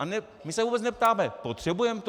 A my se vůbec neptáme - potřebujeme to?